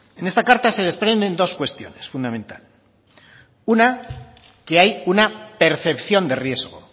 en esta carta se desprenden dos cuestiones fundamentales una que hay una percepción de riesgo